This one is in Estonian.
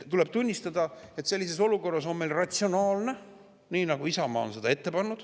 Tuleb tunnistada, et sellises olukorras on meil ratsionaalne teha nii, nagu Isamaa on seda ette pannud.